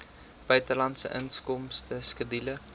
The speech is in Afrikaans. buitelandse inkomste skedule